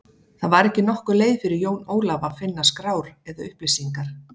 Það var ekki nokkur leið fyrir Jón Ólaf að finna skrár eða upplýsingar.